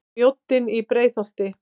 Mjóddin í Breiðholti.